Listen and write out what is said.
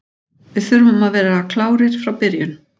Við þurfum að vera klárir frá byrjun.